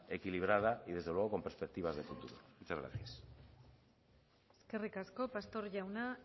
equilibrada y desde luego con perspectivas de futuro muchas gracias eskerrik asko pastor jauna